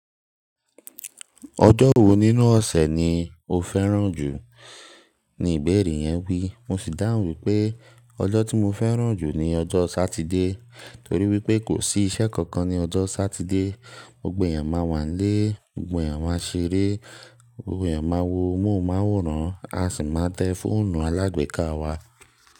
"Ọjọ́ wo nínú ọ̀sẹ̀ ni o fẹ́ràn jù?" Ni ìbéèrè yẹn wí. Mo sì dáhùn wípé ọjọ́ tí mo fẹ́ràn jù ni ọjọ́ Satide. Torí wípé kò sí iṣẹ́ kankan ní ọjọ́ Satide, gbogbo ènìyàn máa wà nílé, gbogbo ènìyàn máa ṣeré, gbogbo ènìyàn máa wo mohunmáwòrán, a sì máa tẹ fóònù alágbèéká wa.